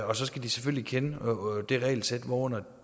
og så skal de selvfølgelig kende det regelsæt hvorunder